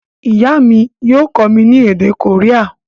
Ìyá mi yio kómí ni èdè Korea